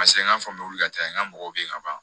Paseke n ka faamuyali ka ca n ka mɔgɔw bɛ yen ka ban